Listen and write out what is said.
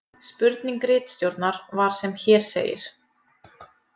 Spurning ritstjórnar var sem hér segir: